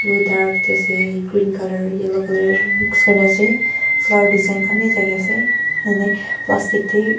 etu dark teh ase green colour yellow colour mixed kuri na ase flower design khan bhi thake ase ene plastic teh--